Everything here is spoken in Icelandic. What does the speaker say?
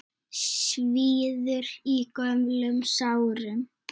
Svíður í gömlum sárum.